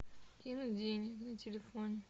кинуть деньги на телефон